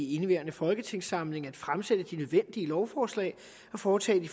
i indeværende folketingssamling at fremsætte de nødvendige lovforslag og foretage de